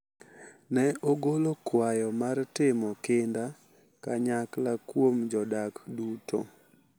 Ne ogolo kwayo mar timo kinda kanyakla kuom jodak duto,